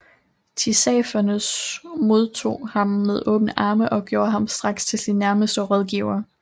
Tissafernes modtog ham med åbne arme og gjorde ham straks til sin nærmeste rådgiver